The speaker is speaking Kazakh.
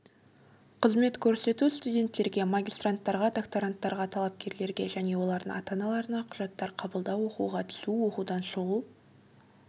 қызмет көрсету студенттерге магистранттарға докторанттарға талапкерлерге және олардың ата-аналарына құжаттар қабылдау оқуға түсу оқудан шығу